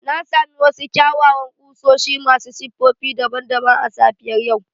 Na sami wasu kyawawan kusoshi masu siffofi daban-daban a safiyar yau